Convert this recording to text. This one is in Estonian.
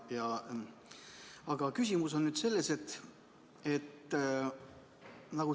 Aga küsimus on mul selline.